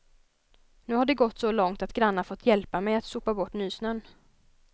Nu har det gått så långt att grannar fått hjälpa mig att sopa bort nysnön.